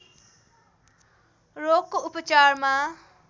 रोगको उपचारमा